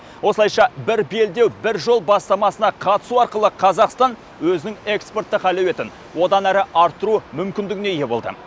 осылайша бір белдеу бір жол бастамасына қатысу арқылы қазақстан өзінің экспорттық әлеуетін одан әрі арттыру мүмкіндігіне ие болды